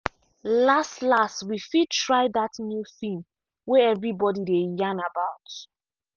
last last we fit try that new film way everybody dey yan about.